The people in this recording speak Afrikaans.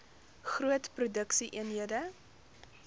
groot produksie eenhede